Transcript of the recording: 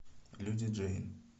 люди джейн